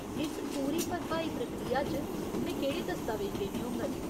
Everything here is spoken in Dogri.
इस पूरी भरभाई प्रक्रिया च, में केह्ड़े दस्तावेज देने होङन?